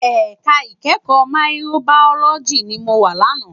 Èká ikèékò Máyikróbàyólòjí ni mó wá làná